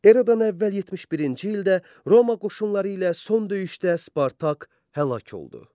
Eradan əvvəl 71-ci ildə Roma qoşunları ilə son döyüşdə Spartak həlak oldu.